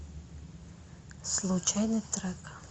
случайный трек